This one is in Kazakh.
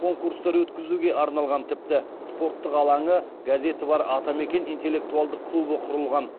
конкурстар өткізуге арналған тіпті спорттық алаңы газеті бар атамекен интеллектуалдық клубы құрылған